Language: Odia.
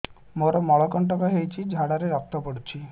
ମୋରୋ ମଳକଣ୍ଟକ ହେଇଚି ଝାଡ଼ାରେ ରକ୍ତ ପଡୁଛି